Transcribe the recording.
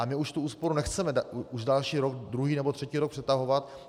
Ale my už tu úsporu nechceme už další rok, druhý nebo třetí rok přetahovat.